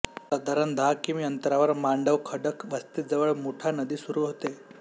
साधारण दहा किमी अंतरावर मांडवखडक वस्तीजवळ मुठा नदी सुरू होते